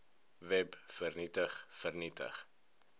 web vernietig vernietig